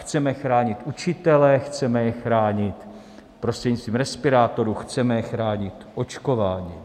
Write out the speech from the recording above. Chceme chránit učitele, chceme je chránit prostřednictvím respirátorů, chceme je chránit očkováním.